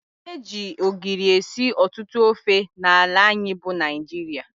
Eji ogiri esị ọtụtụ ofe n' ala anyị bụ Naijiria.